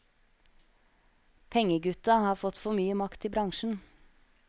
Pengegutta har fått for mye makt i bransjen.